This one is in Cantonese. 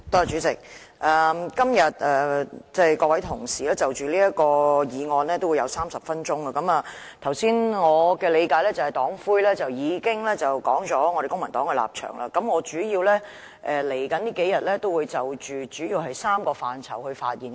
主席，各位同事就此議案都會有30分鐘發言時間，我們的黨魁剛才已經道出了公民黨的立場，我在未來兩天主要會就3個範疇發言。